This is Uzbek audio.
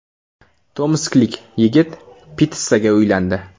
Tomsklik yigit pitssaga uylandi.